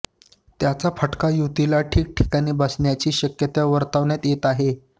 त्याचा फटका युतीला ठिकठिकाणी बसण्याची शक्यता वर्तवण्यात येत आहे